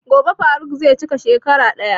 Gobe faruq zai cika shekara ɗaya.